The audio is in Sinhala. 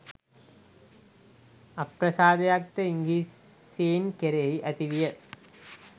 අප්‍රසාදයක්ද ඉංග්‍රීසීන් කෙරෙහි ඇති විය